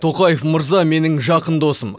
тоқаев мырза менің жақын досым